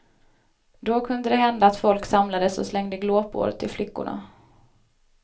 Då kunde det hända att folk samlades och slängde glåpord till flickorna.